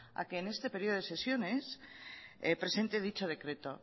a que en este periodo de sesiones presente dicho decreto